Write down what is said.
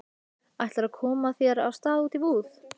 Ætlarðu að koma þér af stað út í búð?